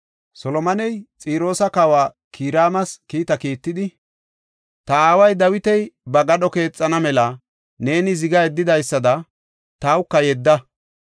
Solomoney Xiroosa Kawa Kiraamas kiita kiittidi, “Ta aaway Dawiti ba gadho keexana mela neeni ziga yeddidaysada tawka yedda.